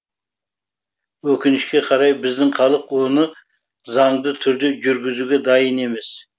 өкінішке қарай біздің халық оны заңды түрде жүргізуге дайын емес